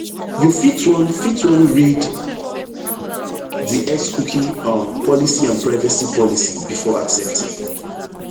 you fit wan fit wan read di xcookie um policyandprivacy policybefore accepting